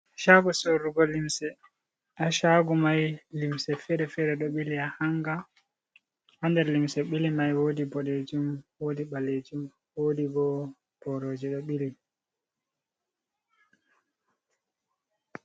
Caago sorrugo limse, haa Caago may limse feere-feere ɗo ɓili haa hannga, haa nder limse ɓili may woodi ɓodeejum woodi ɓaleejum, woodi bo borooji ɗo ɓili.